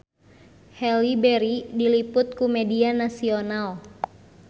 Halle Berry diliput ku media nasional